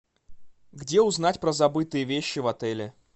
где узнать про забытые вещи в отеле